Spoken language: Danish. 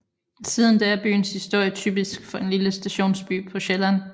Siden da er byens historie typisk for en lille stationsby på Sjælland